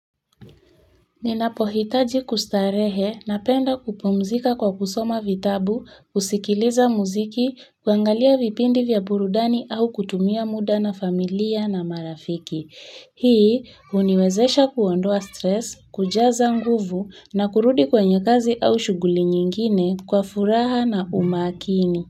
Ninapohitaji kustarehe napenda kupumzika kwa kusoma vitabu, kusikiliza muziki, kuangalia vipindi vya burudani au kutumia muda na familia na marafiki. Hii huniwezesha kuondoa stress, kujaza nguvu na kurudi kwenye kazi au shughuli nyingine kwa furaha na umakini.